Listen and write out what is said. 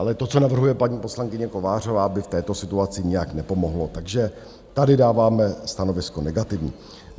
Ale to, co navrhuje paní poslankyně Kovářová, by v této situaci nijak nepomohlo, takže tady dáváme stanovisko negativní.